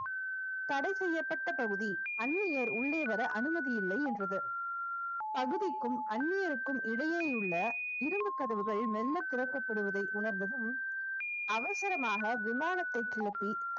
தடை செய்யப்பட்ட பகுதி அந்நியர் உள்ளே வர அனுமதி இல்லை என்றது பகுதிக்கும் அந்நியருக்கும் இடையே உள்ள இரும்பு கதவுகள் மெல்ல திறக்கப்படுவதை உணர்ந்ததும் அவசரமாக விமானத்தை கிளப்பி